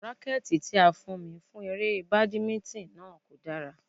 Rákẹ́tì tí a fún mi fún eré Badminton náà kò dára.